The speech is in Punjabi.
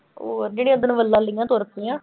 ਉਹ ਜਿਹੜੀ ਉੱਦਣ ਵੱਲਾਂ ਲਈਆਂ ਤੁਰ ਪਈਆਂ।